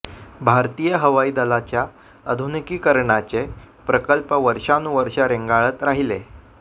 भारतीय हवाई दलाच्या आधुनिकीकरणाचे प्रकल्प वर्षांनुवर्षं रेंगाळत राहिले